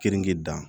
Keninge dan